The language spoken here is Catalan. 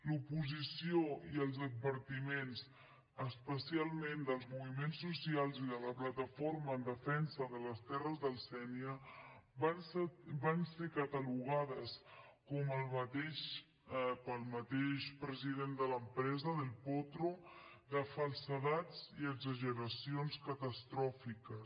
l’oposició i els advertiments especialment dels moviments socials i de la plataforma en defensa de les terres del sénia van ser catalogats pel mateix president de l’empresa del potro de falsedats i exageracions catastròfiques